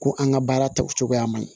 Ko an ka baara ta cogoya man ɲi